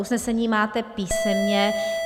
Usnesení máte písemně.